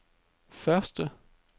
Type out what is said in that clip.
første